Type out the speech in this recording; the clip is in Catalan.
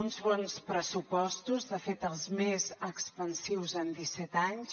uns bons pressupostos de fet els més expansius en disset anys